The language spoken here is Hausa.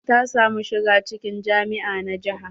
Ta samu shiga cikin jami'a na jiha.